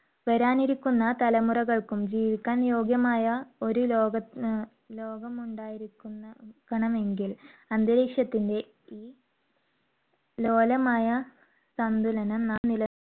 വരാനിരിക്കുന്ന തലമുറകൾക്കും ജീവിക്കാൻ യോഗ്യമായ ഒരു ലോകം അഹ് ലോകം ഉണ്ടായിരിക്കണ~ക്കണമെങ്കിൽ അന്തരീക്ഷത്തിന്റെ ഈ ലോലമായ സന്തുലനം നാം നിലനി~